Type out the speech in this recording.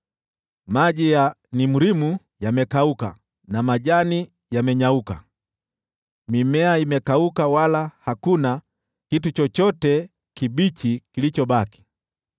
Maji ya Nimrimu yamekauka na majani yamenyauka; mimea imekauka wala hakuna kitu chochote kibichi kilichobaki.